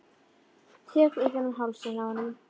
Tek utan um hálsinn á honum.